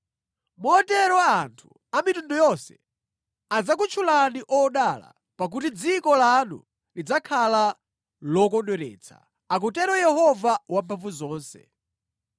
“Motero anthu amitundu yonse adzakutchulani odala, pakuti dziko lanu lidzakhala lokondweretsa,” akutero Yehova Wamphamvuzonse.